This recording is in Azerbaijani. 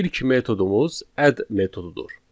İlk metodumuz add metodudur.